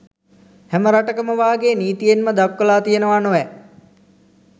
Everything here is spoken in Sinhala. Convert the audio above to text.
හැම රටකම වාගේ නිතීයෙන්ම දක්වලා තියෙනවා නොවැ